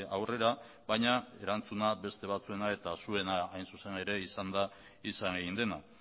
aurrera baina erantzuna beste batzuena eta zuena hain zuzen ere izan da izan egin dena